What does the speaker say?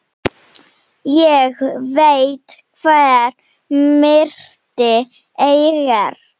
Ég veit hver myrti Eggert.